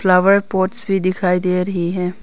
Flower pots भी दिखाई दे रही है।